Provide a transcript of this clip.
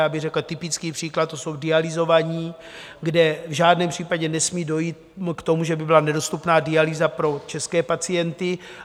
Já bych řekl typický příklad, to jsou dialyzovaní, kde v žádném případě nesmí dojít k tomu, že by byla nedostupná dialýza pro české pacienty.